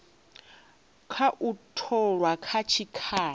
kha u tholwa kha tshikhala